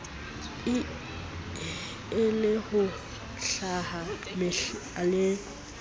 e le ho lahla mehlala